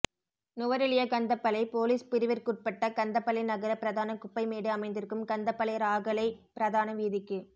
Nuwara Eliya Kandapola police பிரிவிற்குட்பட்ட கந்தபளை நகர பிரதான குப்பை மேடு அமைந்திருக்கும் கந்தபளை இராகலை பிரதான வீதிக்கு